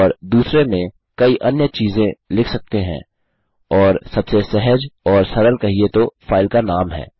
और दुसरे में कई अन्य चीज़े लिख सकते हैं और सबसे सहज और सरल कहिये तो फाइल का नाम है